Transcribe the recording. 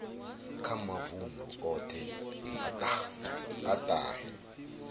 kha mavundu othe a tahe